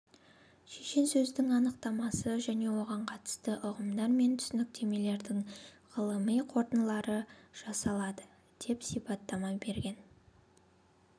шешенсөздің анықтамасы және оған қатысты ұғымдар мен түсініктердің ғылыми қорытындылары жасалады деп сипаттама берген